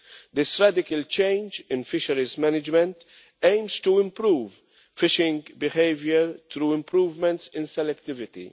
This radical change in fisheries management aims to improve fishing behaviour through improvements in selectivity.